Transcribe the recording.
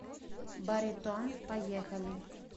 баритон поехали